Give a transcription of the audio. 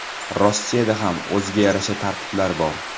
Rossiyada ham o‘ziga yarasha tartiblar bor.